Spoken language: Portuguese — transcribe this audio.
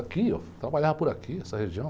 Aqui, trabalhava por aqui, essa região.